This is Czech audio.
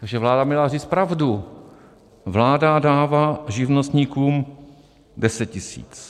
Takže vláda měla říct pravdu: vláda dává živnostníkům 10 tisíc.